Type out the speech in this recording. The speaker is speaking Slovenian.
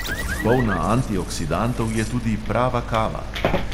Polna antioksidantov je tudi prava kava.